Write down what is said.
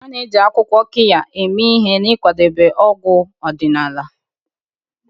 A na-eji akwụkwọ Qirya eme ihe n'ịkwadebe ọgwụ ọdịnala.